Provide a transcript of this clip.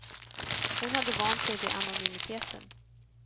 Hon hade vant sig vid anonymiteten.